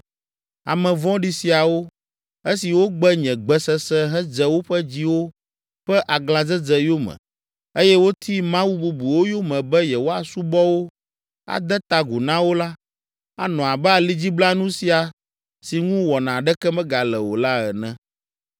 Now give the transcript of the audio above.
Ame vɔ̃ɖi siawo, esi wogbe nye gbe sese hedze woƒe dziwo ƒe aglãdzedze yome eye woti mawu bubuwo yome be yewoasubɔ wo, ade ta agu na wo la, anɔ abe alidziblanu sia si ŋu wɔna aɖeke megale o la ene.’